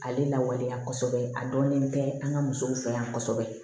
Ale lawaleya kosɛbɛ a dɔnnen tɛ an ka musow fɛ yan kosɛbɛ